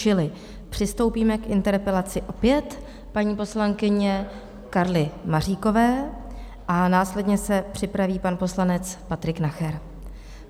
Čili přistoupíme k interpelaci opět paní poslankyně Karly Maříkové a následně se připraví pan poslanec Patrik Nacher.